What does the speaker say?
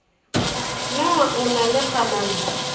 na o na le kganano